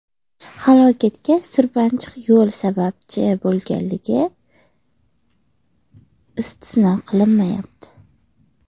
Halokatga sirpanchiq yo‘l sababchi bo‘lganligi istisno qilinmayapti.